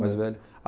Mais velha.